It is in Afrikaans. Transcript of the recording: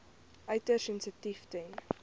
uiters sensitief ten